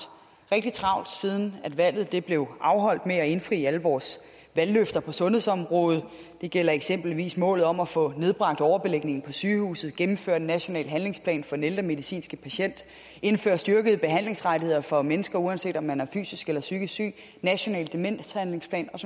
rigtig travlt siden valget blev afholdt med at indfri alle vores valgløfter på sundhedsområdet det gælder eksempelvis målet om at få nedbragt overbelægningen på sygehusene gennemført en national handlingsplan for den ældre medicinske patient indført styrkede behandlingsrettigheder for mennesker uanset om man er fysisk eller psykisk syg en national demenshandlingsplan og